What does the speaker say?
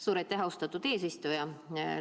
Suur aitäh, austatud eesistuja!